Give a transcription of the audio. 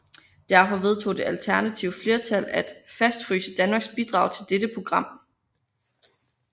Derfor vedtog det alternative flertal at fastfryse Danmarks bidrag til dette program